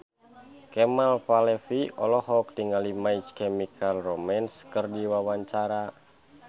Kemal Palevi olohok ningali My Chemical Romance keur diwawancara